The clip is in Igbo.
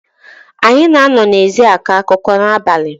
Anyị na-anọ n’ezi akọ akụkọ n’abalị